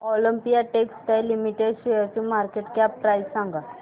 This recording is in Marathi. ऑलिम्पिया टेक्सटाइल्स लिमिटेड शेअरची मार्केट कॅप प्राइस सांगा